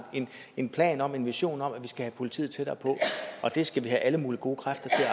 en plan om og en vision om at vi skal have politiet tættere på og det skal vi have alle mulige gode kræfter